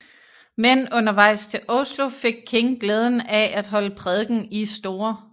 Men undervejs til Oslo fik King glæden af at holde prædiken i St